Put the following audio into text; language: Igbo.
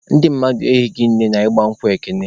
Ndị mmadụ ehighị nne na ịgba nkwụ Ekene.